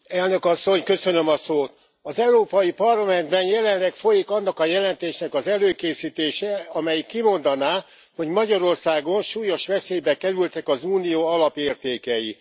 Elnök Asszony, az Európai Parlamentben jelenleg folyik annak a jelentésnek az előkészítése, amelyik kimondaná, hogy Magyarországon súlyos veszélybe kerültek az Unió alapértékei.